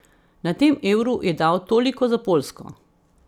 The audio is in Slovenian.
Na tem Euru je dal toliko za Poljsko.